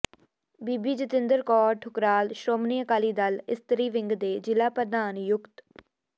ਬੀਬੀ ਜਤਿੰਦਰ ਕੌਰ ਠੁਕਰਾਲ ਸ਼੍ਰੋਮਣੀ ਅਕਾਲੀ ਦਲ ਇਸਤਰੀ ਵਿੰਗ ਦੇ ਜ਼ਿਲ੍ਹਾ ਪ੍ਰਧਾਨ ਨਿਯੁਕਤ